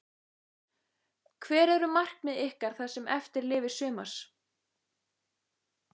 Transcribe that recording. Hver eru markmið ykkar það sem eftir lifir sumars?